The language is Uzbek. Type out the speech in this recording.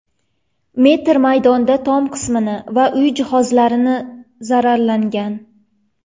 metr maydonda tom qismi va uy jihozlari zararlangan.